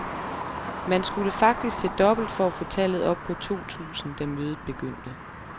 Man skulle faktisk se dobbelt for at få tallet op på to tusind, da mødet begyndte.